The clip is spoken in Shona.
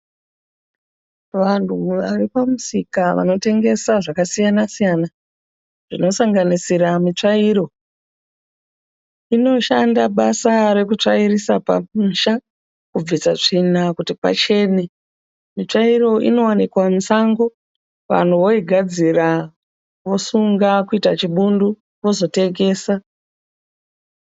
Vanhu vari pamusika vanotengesa zvakasiyana siyana, zvinosanganisira mitsvairo. Inoshanda basa rekutsvairisa pamusha kubvisa tsvina kuti pachene. Mitsvairo inowanikwa musango, vanhu voigadzira vosunga kuita chibundu vozotengesa.